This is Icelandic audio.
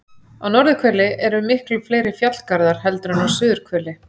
Á norðurhveli eru miklu fleiri fjallgarðar heldur en á suðurhveli.